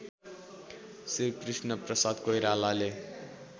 Shri Krishnaprasad कोइरालाले